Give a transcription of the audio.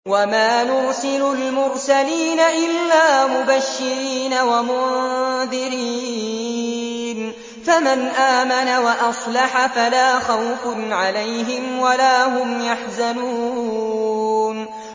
وَمَا نُرْسِلُ الْمُرْسَلِينَ إِلَّا مُبَشِّرِينَ وَمُنذِرِينَ ۖ فَمَنْ آمَنَ وَأَصْلَحَ فَلَا خَوْفٌ عَلَيْهِمْ وَلَا هُمْ يَحْزَنُونَ